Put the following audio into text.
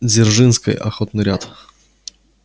дзержинской охотный ряд